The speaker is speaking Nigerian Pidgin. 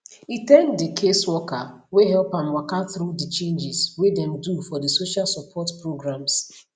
e thank di caseworker wey help am waka through di changes wey dem do for di social support programs